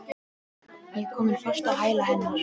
Ég er komin fast á hæla hennar.